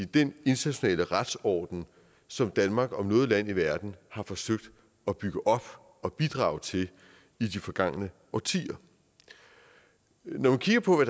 den internationale retsorden som danmark om noget land i verden har forsøgt at bygge op og bidrage til i de forgangne årtier når man kigger på